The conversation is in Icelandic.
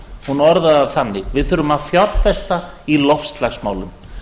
hún orðaði það þannig við þurfum að fjárfesta í loftslagsmálum